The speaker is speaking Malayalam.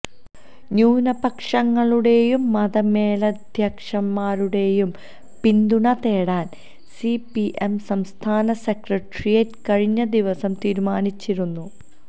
ന്യൂനപക്ഷങ്ങളുടെയും മതമേലധ്യക്ഷന്മാരുടേയും പിന്തുണ തേടാന് സിപിഎം സംസ്ഥാന സെക്രട്ടറിയേറ്റ് കഴിഞ്ഞ ദിവസം തീരുമാനിച്ചിരുന്നു